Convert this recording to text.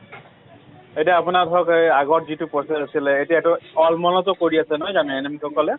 এতিয়া আপোনাৰ ঘৰত সেই আগৰ যিটো process আছিলে , এতিয়া টো আলমন টো কৰি আছে নহয় জানো সকলে